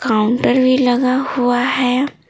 Counter भी लगा हुआ है।